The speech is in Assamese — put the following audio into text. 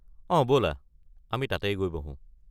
অ' ব'লা! আমি তাতেই গৈ বহো।